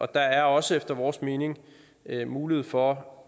der er også efter vores mening mulighed for